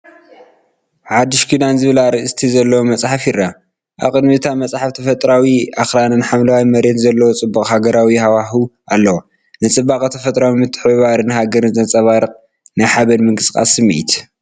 “ሓዱሽ ኪዳን” ዝብል ኣርእስቲ ዘለዎ መጽሓፍ ይርአ። ኣብ ቅድሚት እታ መጽሓፍ ተፈጥሮኣዊ ኣኽራንን ሓምላይ መሬትን ዘለዎ ጽቡቕን ሃገራውን ሃዋህው ኣለዎ። ንጽባቐ ተፈጥሮን ምትሕብባር ሃገርን ዘንጸባርቕ ናይ ሓበንን ምንቅስቓስን ስምዒት።